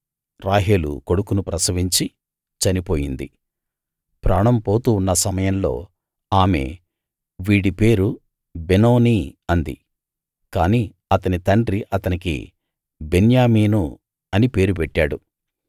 రాహేలు కొడుకును ప్రసవించి చనిపోయింది ప్రాణం పోతూ ఉన్న సమయంలో ఆమె వీడి పేరు బెనోని అంది కాని అతని తండ్రి అతనికి బెన్యామీను అని పేరు పెట్టాడు